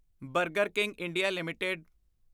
burger King India LTD